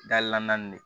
Dali la naani de